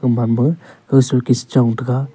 ambam ba aga suket cha chong taga.